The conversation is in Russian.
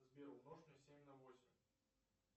сбер умножь мне семь на восемь